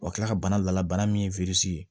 Wa kila ka bana la bana min ye